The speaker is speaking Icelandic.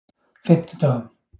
fimmtudögum